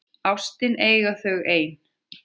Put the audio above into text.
Ástina eiga þau ein.